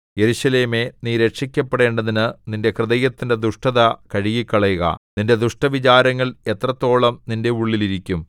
യെരൂശലേമേ നീ രക്ഷിക്കപ്പെടേണ്ടതിന് നിന്റെ ഹൃദയത്തിന്റെ ദുഷ്ടത കഴുകിക്കളയുക നിന്റെ ദുഷ്ടവിചാരങ്ങൾ എത്രത്തോളം നിന്റെ ഉള്ളിൽ ഇരിക്കും